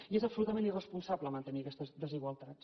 i és absolutament irresponsable mantenir aquestes desigualtats